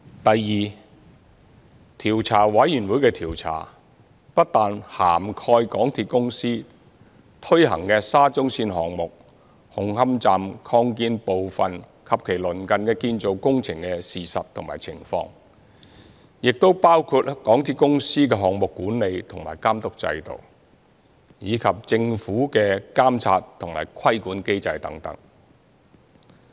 第二，調查委員會的調查不但涵蓋香港鐵路有限公司推行的沙中線項目紅磡站擴建部分及其鄰近建造工程的事實和情況，也會包括港鐵公司的項目管理和監督制度，以及政府的監察和規管機制等。